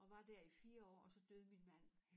Og var dér i 4 år og så døde min mand